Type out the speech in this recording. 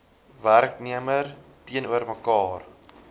werknemer teenoor mekaar